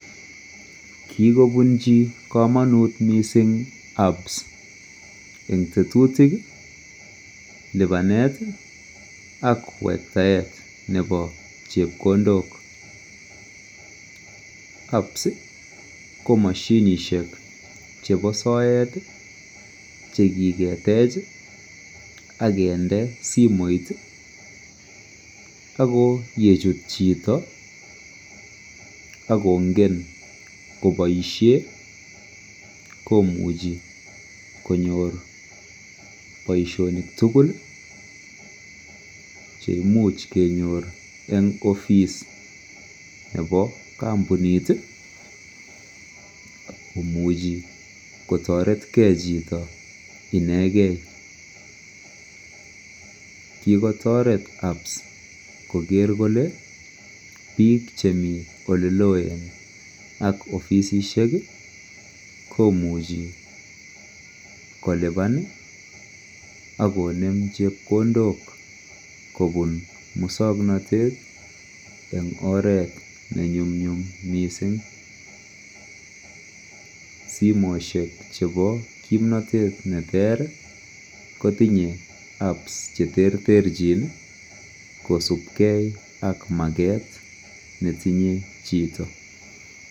kigobunchi komonuut mising apps en tetutik iih lipaneet iih ak wektaet nebo chepkondook, apps iih ko moshinishek chebo soet iih chegigetech iih ak kende simoit iih ak koyechut chito ak kongen koboishen komuchi konyoor boishonik tugul cheimuch keyoor en office nebo kompuniit iih komuchi kotoret kee chito inegen, kigotoret apps kogeer kole piik chemii oleloen ak ofisisiek iih komuche kolubaan iih ak koneem chepkondook kobun musoknotet en oreet nenyumnyum mising, simoishek chebo kimnotet neteer iih, kotinye apps cheterterchin iih kosupkee ak mageet netinye chito.